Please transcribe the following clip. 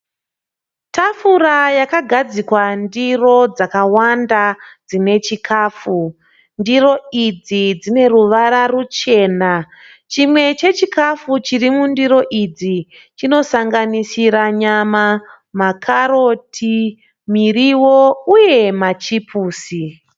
tafura yakagadzikwa ndiro dzakawanda dzine chikafu, ndiro idzi dzine ruvara rwuchena, chimwe chechikafu ichi chinosangsira nyama makaroti miriwo uye machipusi.